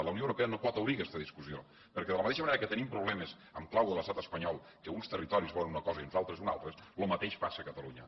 la unió europea no pot obrir aquesta discussió perquè de la mateixa manera que tenim problemes en clau de l’estat espanyol que uns territoris volen una cosa i uns altres una altra lo mateix passa a catalunya